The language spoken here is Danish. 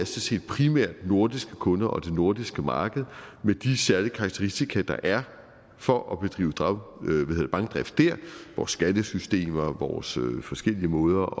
set primært nordiske kunder og det nordiske marked med de særlige karakteristika der er for at bedrive bankdrift der vores skattesystem og vores forskellige måder